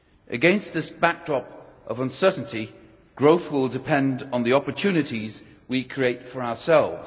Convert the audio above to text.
Against this backdrop of uncertainty, growth will depend on the opportunities we create for ourselves.